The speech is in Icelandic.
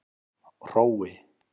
Hrói